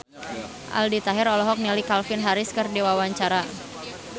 Aldi Taher olohok ningali Calvin Harris keur diwawancara